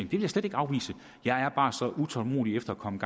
vil jeg slet ikke afvise jeg er bare så utålmodig efter at komme